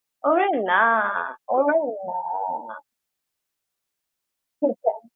ওরে না! ওরে না!